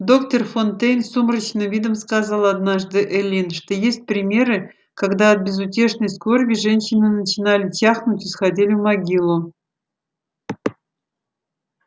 доктор фонтейн с сумрачным видом сказал однажды эллин что есть примеры когда от безутешной скорби женщины начинали чахнуть и сходили в могилу